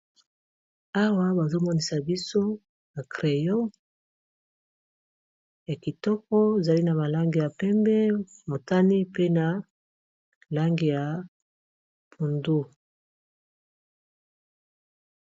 awa bazomonisa biso na creyo ya kitoko zali na malange ya pembe motani pe na langi ya pundu